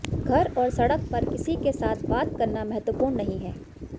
घर और सड़क पर किसी के साथ बात करना महत्वपूर्ण नहीं है